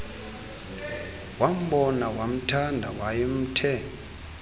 wambona wamthanda wayemthe